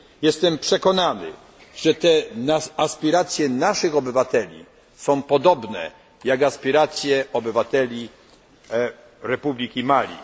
Jestem przekonany, że aspiracje naszych obywateli są podobne do aspiracji obywateli Republiki Mali.